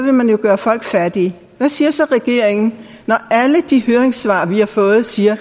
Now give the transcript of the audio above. man gøre folk fattige hvad siger så regeringen når alle de høringssvar vi har fået siger at